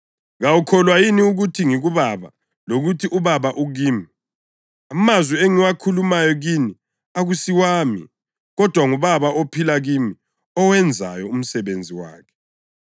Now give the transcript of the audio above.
Kawukholwa yini ukuthi ngikuBaba lokuthi uBaba ukimi? Amazwi engiwakhulumayo kini akusiwami. Kodwa nguBaba ophila kimi owenzayo umsebenzi wakhe.